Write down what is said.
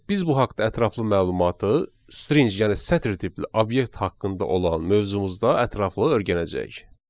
Biz bu haqda ətraflı məlumatı string yəni sətir tipli obyekt haqqında olan mövzumuzda ətraflı öyrənəcəyik.